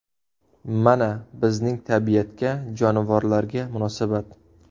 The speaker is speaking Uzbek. Mana, bizning tabiatga, jonivorlarga munosabat.